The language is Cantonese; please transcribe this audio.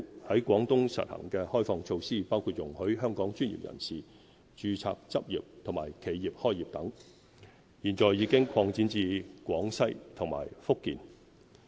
在廣東實行的開放措施，包括容許香港專業人員註冊執業和企業開業等，現已擴展至廣西和福建。